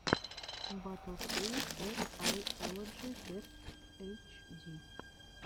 батл кей эс ай оладжи дебт эйч ди